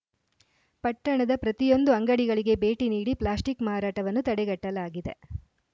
ಪಟ್ಟಣದ ಪ್ರತಿಯೊಂದು ಅಂಗಡಿಗಳಿಗೆ ಭೇಟಿ ನೀಡಿ ಪ್ಲಾಸ್ಟಿಕ್‌ ಮಾರಾಟವನ್ನು ತಡೆಗಟ್ಟಲಾಗಿದೆ